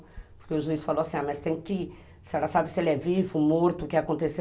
Porque o juiz falou assim, mas tem que, se ela sabe se ele é vivo, morto, o que aconteceu?